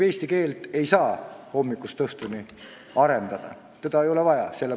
Eesti keelt ei saa hommikust õhtuni arendada, seda ei ole vaja.